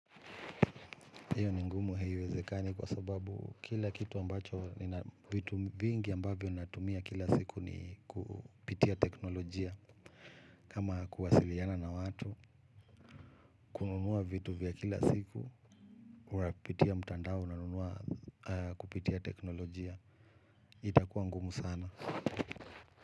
Hiyo ni ngumu haiwezekani kwa sababu kila kitu ambacho, nina vitu vingi ambavyo natumia kila siku ni kupitia teknolojia. Kama kuwasiliana na watu, kununua vitu vya kila siku, unapitia mtandao unanunua kupitia teknolojia. Itakuwa ngumu sana.